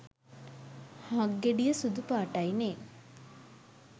හක්ගෙඩිය සුදුපාටයි නෙ.